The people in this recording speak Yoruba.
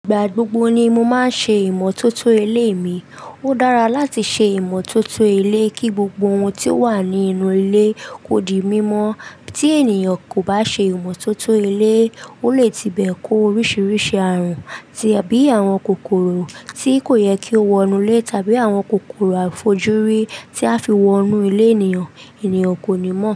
Ìgbà gbogbo ni mo máa ń ṣe ìmọ́tótó ilé mi. Ó dára láti ṣe ìmọ́tótó ilé kí gbogbo ohun tí ó wà ní inú ilé kó di mímọ̀. Tí ènìyàn kò bá ṣe ìmọ́tótó ilé, ó lè tí bẹ kó oríṣiríṣi ààrùn bíi àwọn kòkòrò tí kò yẹ kí ó wọ inú ilé tàbí àwọn kòkòrò àfojúrí tí a fi wọ inú ilé ènìyàn, ènìyàn kò ní mọ̀